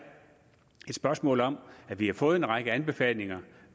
et spørgsmål om at vi har fået en række anbefalinger